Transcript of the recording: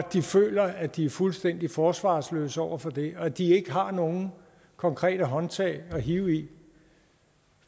de føler at de er fuldstændig forsvarsløse over for det og når de ikke har nogen konkrete håndtag at hive i